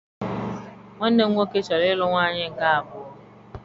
Nwanne m nwoke chọrọ ịlụ nwaanyị nke abụọ